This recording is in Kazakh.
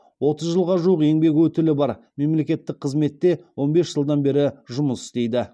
отыз жылға жуық еңбек өтілі бар мемлекеттік қызметте он бес жылдан бері жұмыс істейді